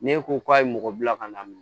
Ne ko k'a ye mɔgɔ bila ka na